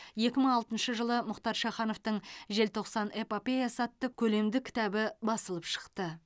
екі мың алтыншы жылы мұхтар шахановтың желтоқсан эпопеясы атты көлемді кітабы басылып шықты